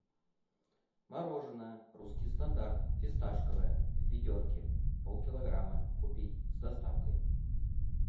мороженое русский стандарт фисташковое в ведерке полкилограмма купить с доставкой